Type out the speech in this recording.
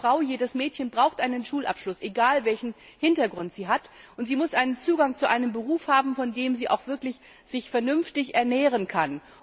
Jede Frau, jedes Mädchen braucht einen Schulabschluss, egal, welchen Hintergrund sie hat, und sie muss einen Zugang zu einem Beruf haben, von dem sie sich auch wirklich vernünftig ernähren kann.